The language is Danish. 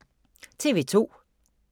TV 2